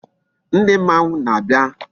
Ndi mmanwu na-abia